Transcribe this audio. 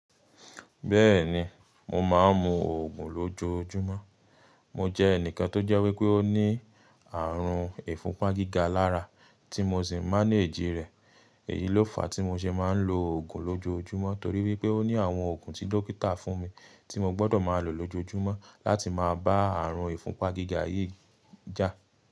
Bẹ́ẹ̀ni, mo máa ń mu oògùn lójoójúmọ́. Mo jẹ́ ẹnìkan tó jẹ́ wípé ó ní àrùn ìfúnpá gíga lára tí mo sì má ń èjì rẹ̀. Èyí ló fàá tí mo ṣe máa ń lo oògùn lójoójúmọ́ torí wípé ó ní àwọn òògùn tí dókítà fún mi tí mo gbọ́dọ̀ máa lò lójoójúmọ́ láti máa bá àrùn ìfúnpá gíga yìí jà.